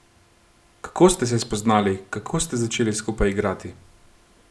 Kako ste se spoznali, kako ste začeli skupaj igrati?